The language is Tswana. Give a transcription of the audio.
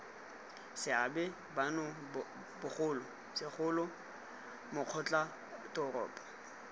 seabe bano bogolo segolo makgotlatoropo